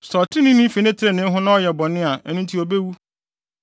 Sɛ ɔtreneeni fi ne trenee ho na ɔyɛ bɔne a, ɛno nti obewu.